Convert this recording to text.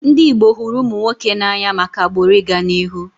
Ndị Igbo hụrụ ụmụ nwoke n'anya maka agbụrụ ị ga n'ihu